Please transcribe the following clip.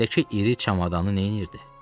Əlindəki iri çamadanı nəyirdi?